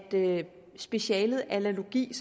specialet allergologi det